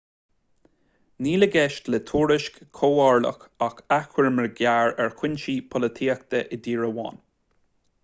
níl i gceist le tuairisc chomhairleach ach achoimre ghearr ar chúinsí polaitíochta i dtír amháin